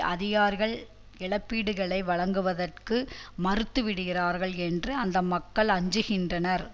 அதிகாரிகள் இழப்பீடுகளை வழங்குவதற்கு மறுத்து விடுவார்கள் என்று அந்த மக்கள் அஞ்சுகின்றனர்